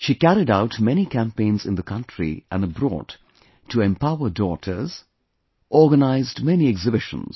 She carried out many campaigns in the country and abroad to empower daughters; organized many exhibitions